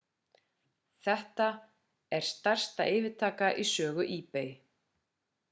þetta er stærsta yfirtaka í sögu ebay